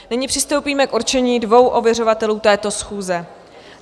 Nyní přistoupíme k určení dvou ověřovatelů této schůze.